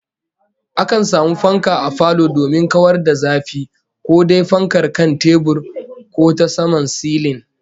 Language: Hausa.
Akan samu fanka a falo domin kawar da zafi, ko dai fankar kan tebur ko ta saman silin